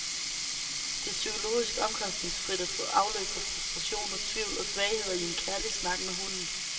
Det er psykologisk omkostningsfrit at få afløb for frustrationer, tvivl og svagheder i en kærlig snak med hunden.